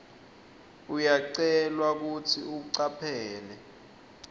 uyacelwa kutsi ucaphele